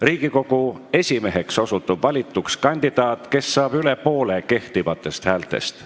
Riigikogu esimeheks valituks osutub kandidaat, kes saab üle poole kehtivatest häältest.